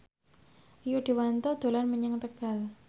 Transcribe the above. Rio Dewanto dolan menyang Tegal